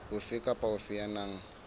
ofe kapa ofe ya nang